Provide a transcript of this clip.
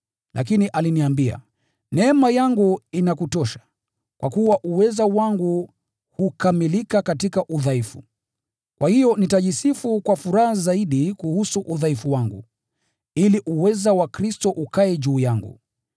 Lakini aliniambia, “Neema yangu inakutosha, kwa kuwa uweza wangu hukamilika katika udhaifu.” Kwa hiyo nitajisifu kwa furaha zaidi kuhusu udhaifu wangu, ili uweza wa Kristo ukae juu yangu.